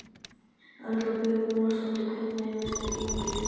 Erla Björg Gunnarsdóttir: Hvernig hefur það gengið?